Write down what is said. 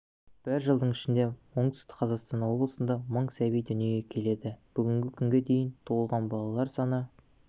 бір жылдың ішінде оңтүстік қазақстан облысында мың сәби дүниеге келеді бүгінгі күнге дейін туылған балалар саны